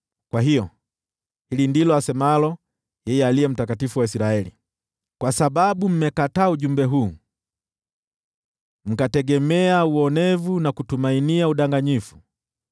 Kwa hiyo, hili ndilo asemalo yeye Aliye Mtakatifu wa Israeli: “Kwa sababu mmekataa ujumbe huu, mkategemea uonevu na kutumainia udanganyifu,